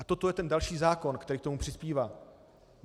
A toto je ten další zákon, který k tomu přispívá.